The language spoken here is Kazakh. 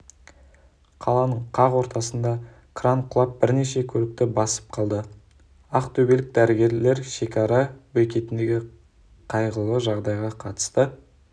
қаланың қақ ортасында кран құлап бірнеше көлікті басып қалды ақтөбелік дәрігерлер шекара бекетіндегі қайғылы жағдайға қатысты